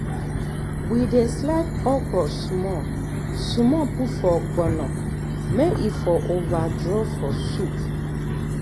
we slice okro small small put for ogbono may e for over draw for soup